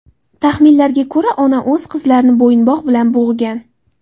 Taxminlarga ko‘ra, ona o‘z qizlarini bo‘yinbog‘ bilan bo‘g‘gan.